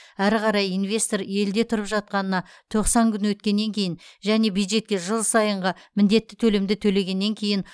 әрі қарай инвестор елде тұрып жатқанына тоқсан күн өткеннен кейін және бюджетке жыл сайынғы міндетті төлемді төлегеннен кейін